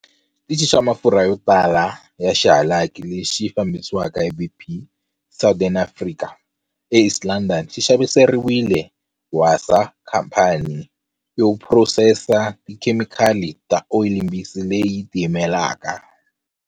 Xitichi xa mafurha yo tala ya xihalaki lexi xi fambisiwaka hi BP Southern Africa eEast London xi xaviseriwile Wasaa, khamphani yo phurosesa tikhemikali ta oyilimbisi leyi tiyimelaka.